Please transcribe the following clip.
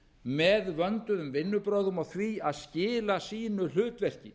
með vönduðum vinnubrögðum og því að skila sínu hlutverki